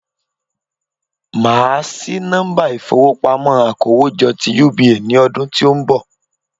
Màá sí nọ́mbà ìfowópamọ́ akówójọ́ ti UBA ní ọdún tí ó n bọ̀